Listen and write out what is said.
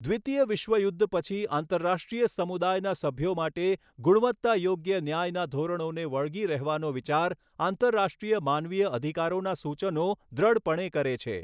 દ્વિતીય વિશ્વ યુદ્ધ પછી આંતરરાષ્ટ્રીય સમુદાયના સભ્યો માટે ગુણવત્તા યોગ્ય ન્યાયના ધોરણોને વળગી રહેવાનો વિચાર આંતરરાષ્ટ્રીય માનવીય અધિકારોના સૂચનો દૃઢપણે કરે છે.